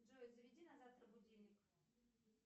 джой заведи на завтра будильник